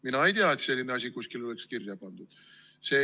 Mina ei tea, et selline asi oleks kuskile kirja pandud.